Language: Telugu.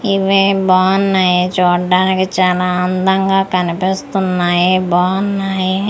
ఇవే బావున్నాయి చూడ్డానికి చాన అందంగా కనిపిస్తున్నాయి బావున్నాయి.